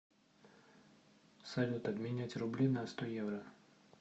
салют обменять рубли на сто евро